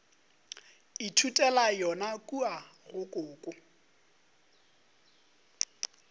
ithutela yona kua go koko